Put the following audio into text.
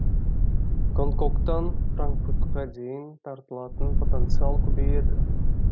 гонконгтан франкфуртқа дейін тартылатын потенциал көбейеді